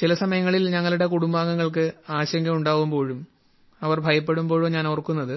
ചില സമയങ്ങളിൽ ഞങ്ങളുടെ കുടുംബാംഗങ്ങൾക്ക് ആശങ്ക ഉണ്ടാവുമ്പോഴും അവർ ഭയപ്പെടുമ്പോഴോ ഞാൻ ഓർക്കുന്നത്